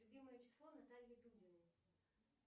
любимое число натальи дудиной